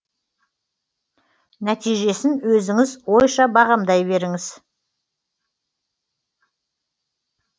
нәтижесін өзіңіз ойша бағамдай беріңіз